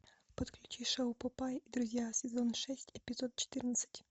подключи шоу папай и друзья сезон шесть эпизод четырнадцать